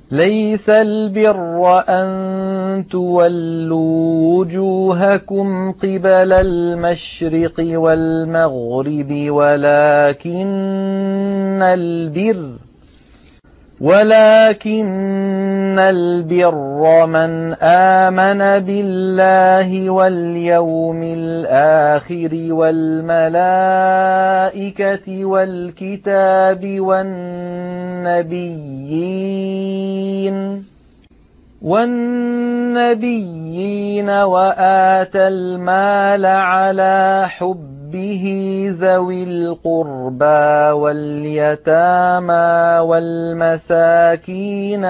۞ لَّيْسَ الْبِرَّ أَن تُوَلُّوا وُجُوهَكُمْ قِبَلَ الْمَشْرِقِ وَالْمَغْرِبِ وَلَٰكِنَّ الْبِرَّ مَنْ آمَنَ بِاللَّهِ وَالْيَوْمِ الْآخِرِ وَالْمَلَائِكَةِ وَالْكِتَابِ وَالنَّبِيِّينَ وَآتَى الْمَالَ عَلَىٰ حُبِّهِ ذَوِي الْقُرْبَىٰ وَالْيَتَامَىٰ وَالْمَسَاكِينَ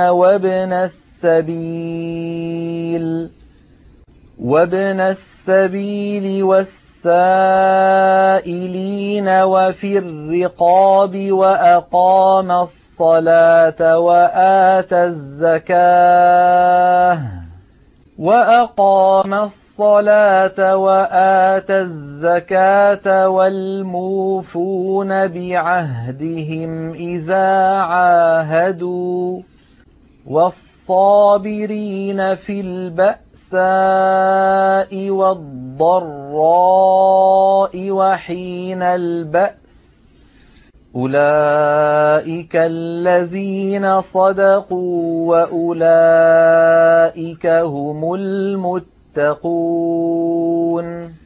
وَابْنَ السَّبِيلِ وَالسَّائِلِينَ وَفِي الرِّقَابِ وَأَقَامَ الصَّلَاةَ وَآتَى الزَّكَاةَ وَالْمُوفُونَ بِعَهْدِهِمْ إِذَا عَاهَدُوا ۖ وَالصَّابِرِينَ فِي الْبَأْسَاءِ وَالضَّرَّاءِ وَحِينَ الْبَأْسِ ۗ أُولَٰئِكَ الَّذِينَ صَدَقُوا ۖ وَأُولَٰئِكَ هُمُ الْمُتَّقُونَ